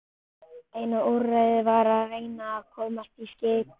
Eina úrræðið var að reyna að komast í skiprúm.